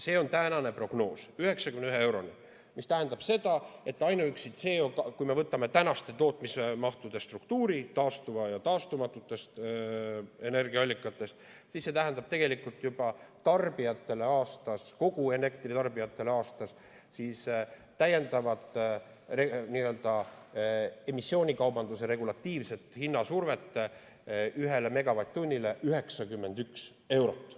See on tänane prognoos, 91 euroni, mis tähendab seda, et kui me võtame tänaste tootmismahtude struktuuri, taastuvad ja taastumatud energiaallikad, siis see tähendab tegelikult elektritarbijatele aastas täiendavat emissioonikaubanduse regulatiivset hinnasurvet ühe megavatt-tunni puhul 91 eurot.